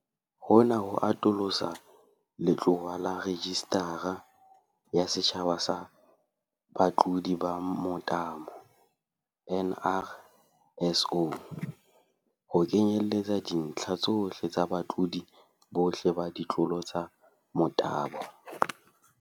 Hona ho atolosa letlowa laRejistara ya Setjhaba ya Batlodi ba Motabo, NRSO, ho kenyelletsa dintlha tsohle tsa batlodi bohle ba ditlolo tsa motabo.